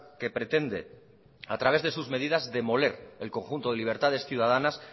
que pretende a través de sus medidas demoler el conjunto de libertades ciudadanas